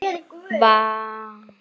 Varð Ormur við þessari bón.